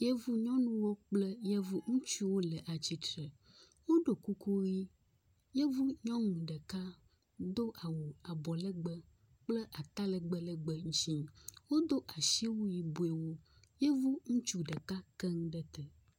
Yevunyɔnuwo kple yevuŋutsuwo le atsitre. Woɖo kuku ʋi. Yevunyɔnu ɖeka do awu abɔlegbe kple talegbẽ legbẽ. Wodo asiwui yibɔewo. Yevuŋutsu ɖeka ke nu ɖe te.